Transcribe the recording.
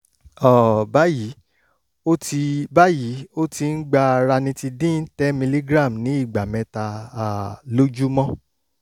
um báyìí ó ti báyìí ó ti ń gba ranitidine ten milligram ní ìgbà mẹ́ta um lójúmọ́